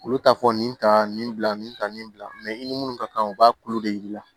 Olu t'a fɔ nin ta nin bila nin ta nin bila i ni minnu ka kan u b'a tulu de yir'i la